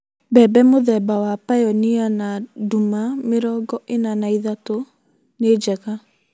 Mbembe mũthemba wa Pioneer na nduma mĩrongo ĩna na ithatū(43) nĩ njega.